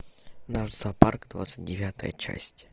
наш зоопарк двадцать девятая часть